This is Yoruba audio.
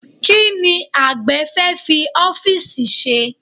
Kí ni àgbẹ̀ fẹ́ fi ọ́fíìsì ṣe?